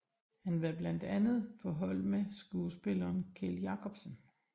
Han var blandt andre på hold med skuespilleren Kjeld Jacobsen